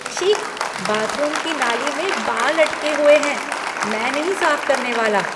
छी! बाथरूम की नाली में बाल अटके हुए हैं। मैं नहीं साफ करने वाला।